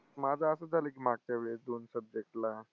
माझं असंच झालं की मागच्या वेळेस दोन subject ला.